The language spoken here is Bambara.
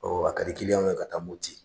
a ka di kiliyanw ka taa Moti.